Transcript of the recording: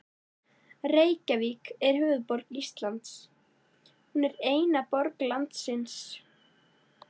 Reykjavík er höfuðborg Íslands. Hún er eina borg landsins.